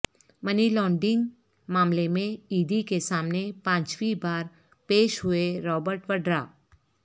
منی laundering معاملے میں E D کے سامنے پانچویں بار پیش ہوئے رابرٹ وڈرا